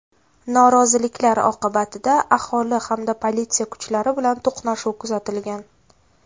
Noroziliklar oqibatida aholi hamda politsiya kuchlari bilan to‘qnashuv kuzatilgan.